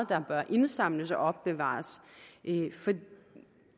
der bør indsamles og opbevares